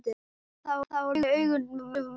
En það voru augun sem mest höfðu breyst.